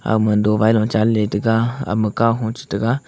aoma dobail chanley tega ahaoma kahua chitega.